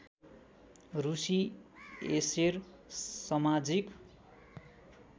रुसी एसेर समाजिक